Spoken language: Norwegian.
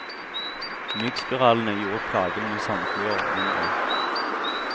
Myggspiralene gjorde plagen med sandfluer mindre.